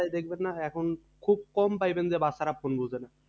দেখবেন না এখন খুব কম পাইবেন যে বাচ্চারা Phone বুঝেনা।